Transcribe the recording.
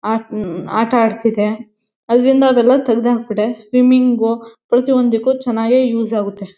ಆಟ ಅಟಾಡ್ತಿದೆ. ಅದ್ರಿಂದ ಅವೆಲ್ಲ ತಗ್ಡಾಬಿಟೆ. ಸ್ವಿಮ್ಮಿಂಗ್ ಪ್ರತಿಯೊಂದಕ್ಕೂ ಚನ್ನಾಗೇ ಯೂಸ್ ಆಗತ್ತೆ.